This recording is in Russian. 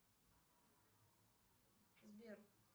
сбер